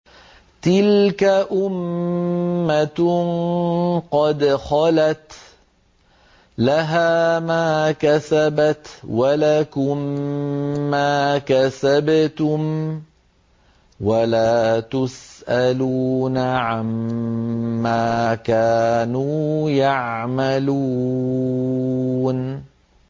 تِلْكَ أُمَّةٌ قَدْ خَلَتْ ۖ لَهَا مَا كَسَبَتْ وَلَكُم مَّا كَسَبْتُمْ ۖ وَلَا تُسْأَلُونَ عَمَّا كَانُوا يَعْمَلُونَ